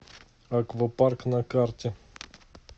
аквапарк на карте